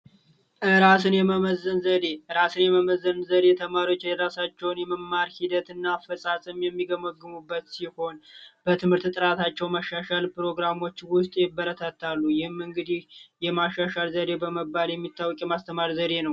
የመመዝገን ዘዴ እራሴን መመዘን ዘዴ የተማሪዎች የራሳቸውን የመማር ሂደትና አፈፃፀም የሚገመግሙበት ሲሆን በትምህርት ጥራታቸው ማሻሻል ፕሮግራሞች ይበረታታሉ እንግዲ የማሻሻል ዘዴ በመባል የሚታወቅ የማስተማር ዘዴ ነው